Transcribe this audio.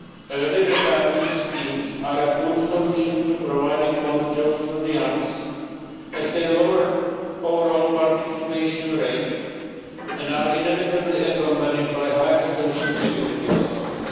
term. Early retirement schemes are a poor solution to providing more jobs for the young, as they lower overall participation rates, and are inevitably accompanied by higher social security